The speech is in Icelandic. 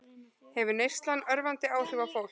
Hefur neyslan örvandi áhrif á fólk